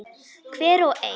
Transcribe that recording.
Hver og ein.